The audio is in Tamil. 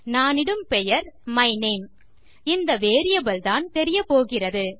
நானிடும் பெயர் மை நேம் இந்த வேரியபிள் தான் தெரியப்போகிறது